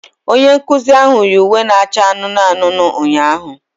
Onye nkuzi ahụ yi uwe na-acha anụnụ anụnụ ụnyaahụ